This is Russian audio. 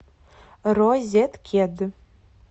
розеткед